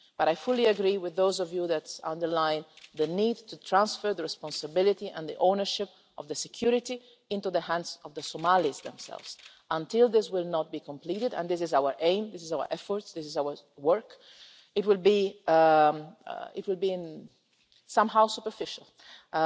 But I fully agree with those honourable Members who underlined the need to transfer the responsibility for, and ownership of, security into the hands of the Somalis themselves. As long as this has not been completed and this is our aim, the focus of our effort and our work it will be superficial somehow.